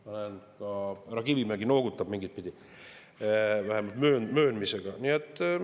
Näen, ka härra Kivimägi noogutab mingitpidi, vähemalt mööndusega.